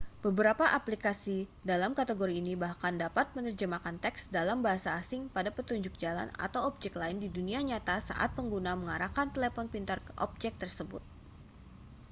beberapa aplikasi dalam kategori ini bahkan dapat menerjemahkan teks dalam bahasa asing pada petunjuk jalan atau objek lain di dunia nyata saat pengguna mengarahkan telepon pintar ke objek tersebut